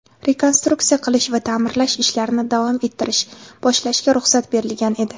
rekonstruksiya qilish va taʼmirlash ishlarini davom ettirish (boshlash)ga ruxsat berilgan edi.